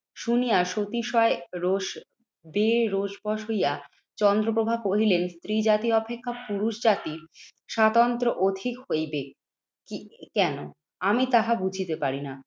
শুনিয়া সতিশয় রোষ দেহে রোষ বশ হইয়া চন্দ্রপ্রভা কহিলেন, স্ত্রী জাতি অপেক্ষা পুরুষজাতি স্বতন্ত্র অধিক হইবে কি কেন? আমি তাহা বুঝিতে পারিনা।